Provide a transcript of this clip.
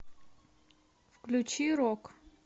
включи рок